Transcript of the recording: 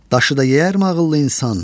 Daşı da yeyərmi ağıllı insan?